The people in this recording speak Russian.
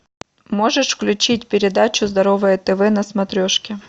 можешь включить передачу здоровое тв на смотрешке